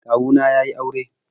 Kawu na yayi aure.